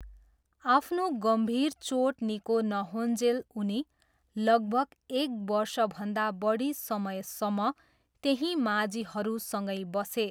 आफ्नो गम्भीर चोट निको नहोउञ्जेल उनी लगभग एक बर्षभन्दा बढी समयसम्म त्यहीँ माझीहरूसँगै बसे।